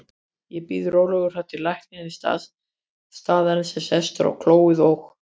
Ég bíð rólegur þar til læknir staðarins er sestur á klóið og